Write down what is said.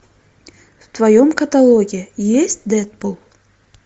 в твоем каталоге есть дэдпул